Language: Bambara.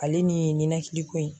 Ale nin ye nin ninakili ko in